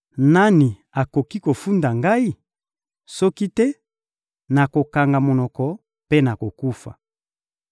Nani akoki kofunda ngai? Soki te, nakokanga monoko mpe nakokufa.